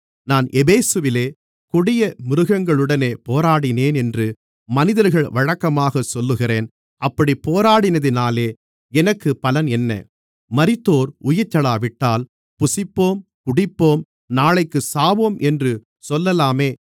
நான் எபேசுவிலே கொடிய மிருகங்களுடனே போராடினேனென்று மனிதர்கள் வழக்கமாகச் சொல்லுகிறேன் அப்படிப் போராடினதினாலே எனக்கு பலன் என்ன மரித்தோர் உயிர்த்தெழாவிட்டால் புசிப்போம் குடிப்போம் நாளைக்குச் சாவோம் என்று சொல்லலாமே